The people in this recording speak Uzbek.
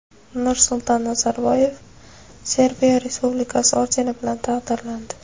Nursulton Nazarboyev Serbiya Respublikasi ordeni bilan taqdirlandi.